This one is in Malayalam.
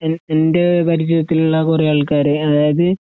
എൻഎൻ്റെ പരിചയത്തിലുള്ളകുറേആൾക്കാര് അതായത്